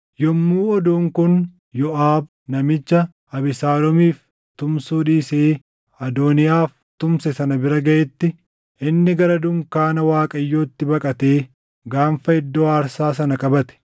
Yommuu oduun kun Yooʼaab namicha Abesaaloomiif tumsuu dhiisee Adooniyaaf tumse sana bira gaʼetti, inni gara dunkaana Waaqayyootti baqatee gaanfa iddoo aarsaa sana qabate.